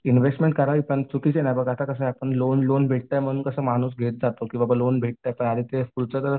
investment करावी पण चुकीचे नाही बघ आता कसं आहे आपण लोन लोन भेटतं माणूस कसं घेत जातो की बाबा लोन पुढचा जर